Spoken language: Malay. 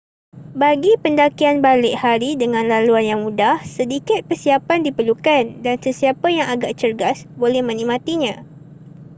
bagi pendakian balik hari dengan laluan yang mudah sedikit persiapan diperlukan dan sesiapa yang agak cergas boleh menikmatinya